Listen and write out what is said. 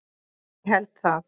Ég held það.